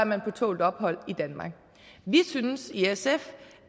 man på tålt ophold i danmark vi synes i sf